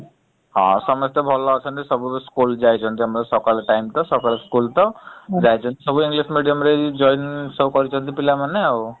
ହ ସମସ୍ତେ ଭଲ ଅଛନ୍ତି ସବୁତ school ଯାଇଛନ୍ତି ଆମର ସକାଳ time ତ ସକାଳ school ତ ଯାଇଛନ୍ତି ସବୁ english medium ରେ join ସବୁ କରିଛନ୍ତି ପିଲାମାନେ ଆଉ ।